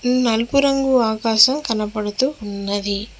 నలుపు రంగు ఆకాశం కనబడుతూ ఉన్నది.